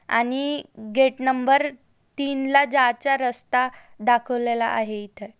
आणि gate number तीन ला जायचा रस्ता दाखवलेला आहे इथ.